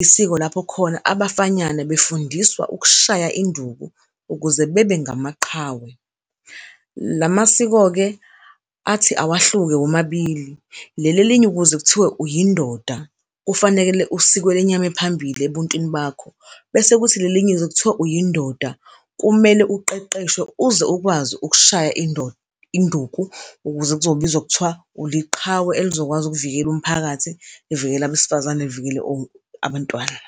isiko lapho khona abafanyana befundiswa ukushaya induku ukuze bebe ngamaqhawe. La masiko-ke athi awahluke womabili leli elinye ukuze kuthiwe uyindoda kufanele usikwe lenyama ephambili ebuntwini bakho, bese kuthi lelinye ukuze kuthiwa uyindoda kumele uqeqeshwe uze ukwazi ukushaya induku ukuze kuzobizwa kuthiwa uliqhawe elizokwazi ukuvikela umphakathi, livikele abesifazane livikele abantwana.